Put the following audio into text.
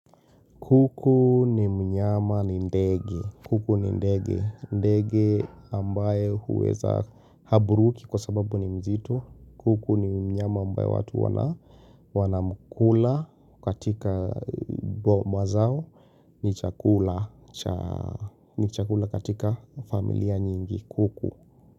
Kuku ni mnyama ni ndege. Kuku ni ndege. Ndege ambaye huweza haburuki kwa sababu ni mzito. Kuku ni mnyama ambaye watu wanamkula katika boma zao ni chakula katika familia nyingi kuku.